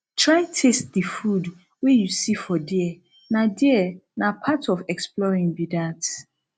try taste the food wey you see for there na there na part of exploring be that